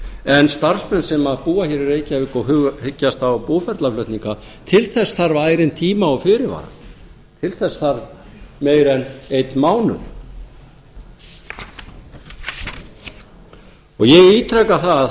en starfsmenn sem búa hér í reykjavík og hyggja á búferlaflutninga til þess þarf ærinn tíma og fyrirvara til þess þarf meira en einn mánuð ég ítreka að það